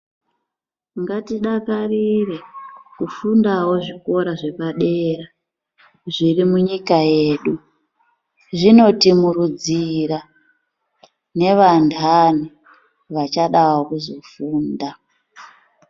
Ngatidakarire kufundawo zvikora zvepadera zviri munyika medu zvino tisimudzira nevandani vachadawo kuzofunda.